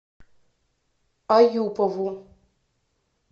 аюпову